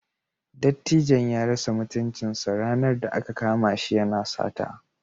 Dattijon ya rasa mutuncinsa ranar da aka kama shi yana sata.